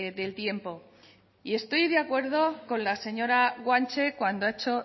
del tiempo y estoy de acuerdo con la señora guanche cuando ha hecho